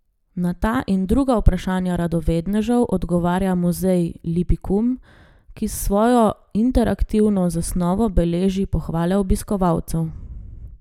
Na ta in druga vprašanja radovednežev odgovarja Muzej Lipikum, ki s svojo interaktivno zasnovo beleži pohvale obiskovalcev.